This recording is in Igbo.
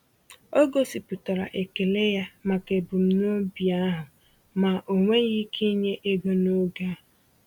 O gosipụtara ekele ya maka ebumnobi ahụ, ma o nweghị ike inye ego n’oge a.